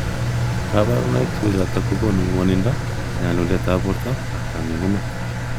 Kabarunaik che uchotok ko konu mwanindo ,Nyalulet ab borto ak kangungunet.